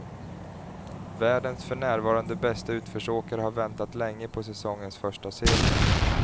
Världens för närvarande bäste utförsåkare har väntat länge på säsongens första seger.